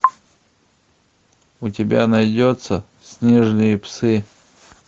у тебя найдется снежные псы